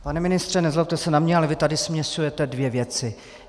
Pane ministře, nezlobte se na mě, ale vy tady směšujete dvě věci.